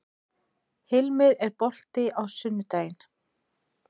Hilmir, er bolti á sunnudaginn?